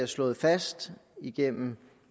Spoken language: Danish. slået fast igennem